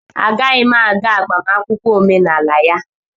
Agaghị m aga agbamakwụkwọ omenala ya